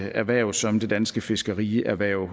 erhverv som det danske fiskerierhverv